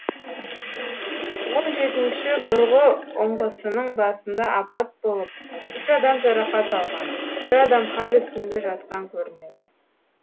он жетінші бұрғы ұңғысының басында апат болып үш адам жарақат алған бір адам хал үстінде жатқан көрінеді